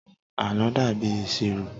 àlọ dàbí ìṣirò